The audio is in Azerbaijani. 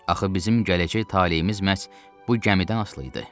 Axı bizim gələcək taleyimiz məhz bu gəmidən asılı idi.